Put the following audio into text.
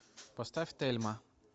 поставь тельма